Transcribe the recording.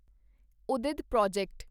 ਉਦੀਦ project